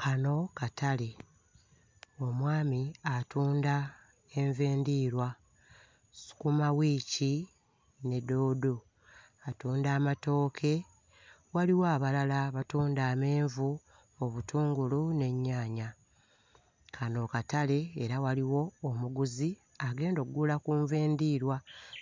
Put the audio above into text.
Kano katale. Omwami atunda enva endiirwa, sukumawiiki ne ddoodo, atunda amatooke. Waliwo abalala abatunda amenvu, obutungulu n'ennyaanya. Kano katale era waliwo omuguzi agenda oggula ku nva endiirwa